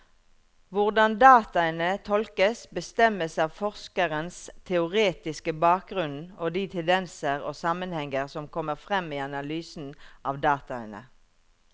Hvordan dataene tolkes, bestemmes av forskerens teoretiske bakgrunnen og de tendenser og sammenhenger som kommer frem i analysen av dataene.